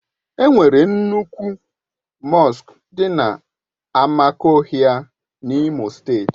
E nwere nnukwu mọsk dị na Amakohia N'Imo steeti.